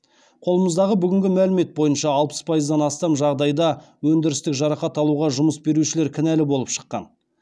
қолымыздағы бүгінгі мәлімет бойынша алпыс пайыздан астам жағдайда өндірістік жарақат алуға жұмыс берушілер кінәлі болып шыққан